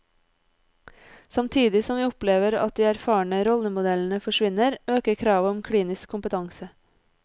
Samtidig som vi opplever at de erfarne rollemodellene forsvinner, øker kravet om klinisk kompetanse.